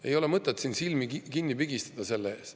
Ei ole mõtet siin silmi kinni pigistada selle ees.